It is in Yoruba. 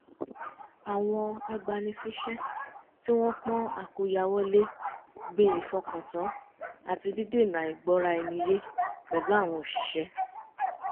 àwọn agbani-síṣẹ́ tí wọ́n pọ́n àkóyawọ́ lé gbin ìfọkàntán àti dídènà àìgbọ́ra ẹni yé pẹ̀lú àwọn òṣiṣẹ́